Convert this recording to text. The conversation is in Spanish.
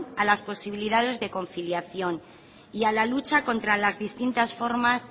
a las posibilidades de conciliación y a la lucha contra las distintas formas